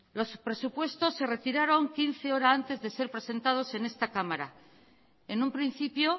los presupuestos se retiraron quince horas antes de ser presentados en esta cámara en un principio